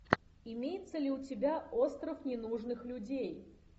имеется ли у тебя остров ненужных людей